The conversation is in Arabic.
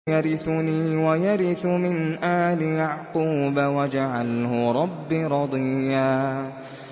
يَرِثُنِي وَيَرِثُ مِنْ آلِ يَعْقُوبَ ۖ وَاجْعَلْهُ رَبِّ رَضِيًّا